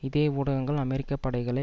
இதே ஊடகங்கள் அமெரிக்க படைகளை